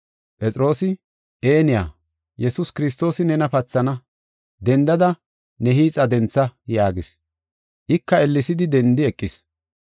Phexroosi, “Eniya, Yesuus Kiristoosi nena pathana; dendada ne hiixa dentha” yaagis. Ika ellesidi dendi eqis.